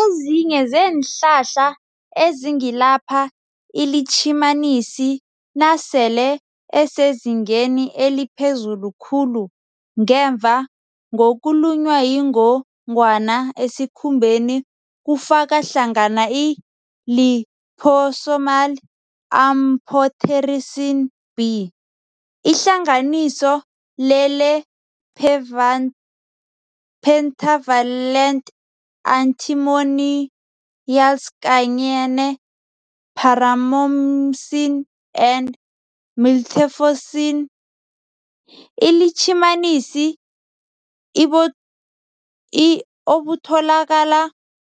Ezinye zeenhlahla ezingalapha iLitjhimanisi nasele esezingeni eliphezulu khulu ngemva ngokulunywa yingongwana esikhumbeni kufaka hlangana i-liposomal amphotericin B, ihlanganiso lele-pentavalent antimonialskanye ne-paromomycin, and miltefosine. iLitjhimanisi obutholakala